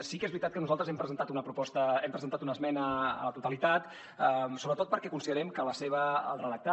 sí que és veritat que nosaltres hem presentat una proposta hem presentat una esmena a la totalitat sobretot perquè considerem que el redactat